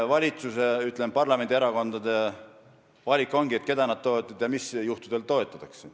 Valitsus ja parlamendierakonnad peavadki tegema valiku, keda nad toetavad ja mis juhtudel.